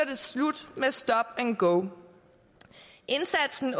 det slut med stop and go indsatsen